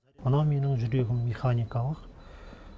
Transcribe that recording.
мына менің жүрегім механикалық